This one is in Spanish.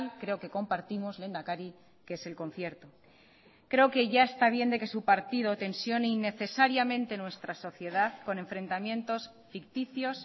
creo que compartimos lehendakari que es el concierto creo que ya está bien de que su partido tensione innecesariamente nuestra sociedad con enfrentamientos ficticios